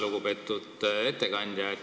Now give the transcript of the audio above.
Lugupeetud ettekandja!